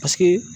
Paseke